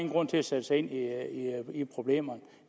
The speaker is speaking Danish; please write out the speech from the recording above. grund til at sætte sig ind i problemerne